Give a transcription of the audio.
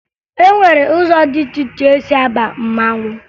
E nwere ụzọ dị iche iche e si aba mmanwụ